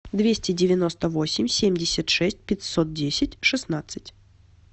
двести девяносто восемь семьдесят шесть пятьсот десять шестнадцать